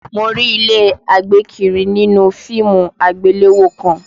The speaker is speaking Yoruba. Mo rí ilé àgbékiri nínú fíìmù àgbéléwò kan